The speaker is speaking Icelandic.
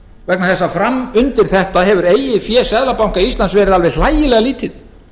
vegna þess að framundir þetta hefur eigið fé seðlabanka íslands verið alveg hlægilega lítið